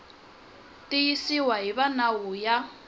tiyisiwa hi va nawu ya